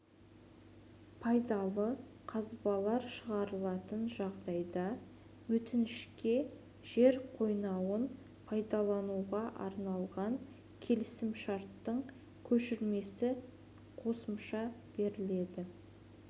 пайдалы қазбалар шығарылатын жағдайда өтінішке жер қойнауын пайдалануға арналған келісімшарттың көшірмесі қоса беріледі